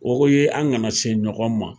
O ye an kana se ɲɔgɔn ma.